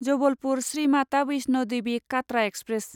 Jabalpur Shri Mata Vaishno Devi Katra express